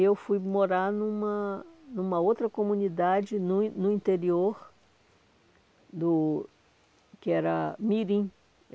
eu fui morar numa numa outra comunidade no in no interior do... que era Mirim.